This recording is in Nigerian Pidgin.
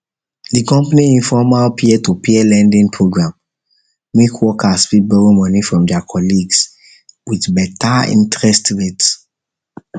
the company informal company informal peertopeer lending program make workers fit borrow money from their colleagues with better interest rate